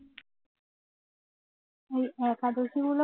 ওই একাদশিগুলো